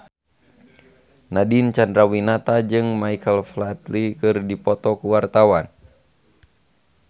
Nadine Chandrawinata jeung Michael Flatley keur dipoto ku wartawan